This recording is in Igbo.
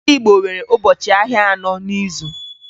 Ndị Igbo nwere ụbọchị ahịa anọ n'izu